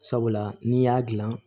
Sabula n'i y'a dilan